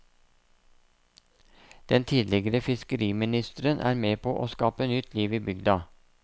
Den tidligere fiskeriministeren er med på å skape nytt liv i bygda.